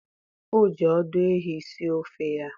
o ji ọdụ ehi sie ofe ya